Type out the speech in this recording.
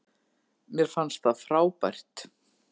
Mér fannst það frábært.